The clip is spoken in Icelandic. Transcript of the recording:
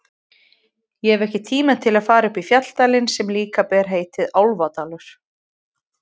Ég hef ekki tíma til að fara upp í fjalladalinn sem líka ber heitið Álfadalur.